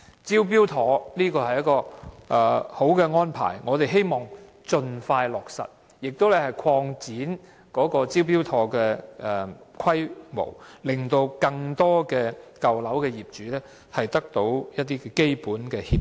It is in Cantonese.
"招標妥"是一項理想安排，我們希望當局盡快落實，並應擴展"招標妥"的規模，讓更多舊樓業主得到一些基本協助。